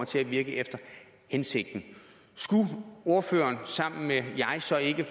til at virke efter hensigten skulle ordføreren sammen med mig så ikke